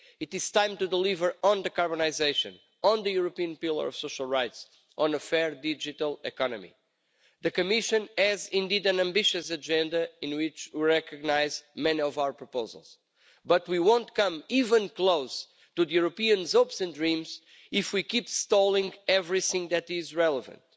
It is time to deliver on decarbonisation, on the European Pillar of Social Rights, and on a fair digital economy. The Commission has indeed an ambitious agenda in which we recognise many of our proposals, but we won't come even close to Europeans' hopes and dreams if we keep stalling everything that is relevant.